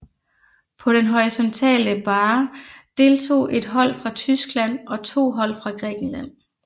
På den horisontale barre deltog ét hold fra Tyskland og to hold fra Grækenland